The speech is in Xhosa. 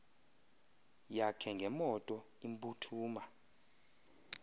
yakhe ngemoto imphuthuma